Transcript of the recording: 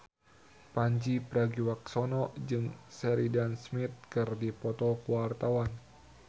Pandji Pragiwaksono jeung Sheridan Smith keur dipoto ku wartawan